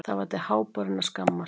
Það var til háborinnar skammar.